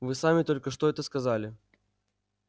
вы сами только что это сказали